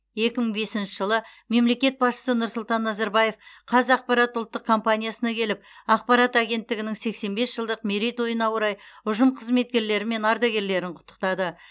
екі мың бесінші жылы мемлекет басшысы нұрсұлтан назарбаев қазақпарат ұлттық компаниясына келіп ақпарат агенттігінің сексен бес жылдық мерейтойына орай ұжым қызметкерлері мен ардагерлерін құттықтады